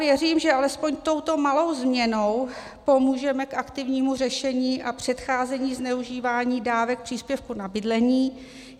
Věřím, že alespoň touto malou změnou pomůžeme k aktivnímu řešení a předcházení zneužívání dávek příspěvku na bydlení.